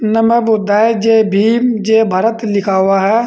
नमो बुद्धाय जय भीम जय भारत लिखा हुआ है।